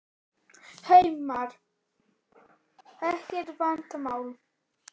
Heimir Már: Ekkert vandamál?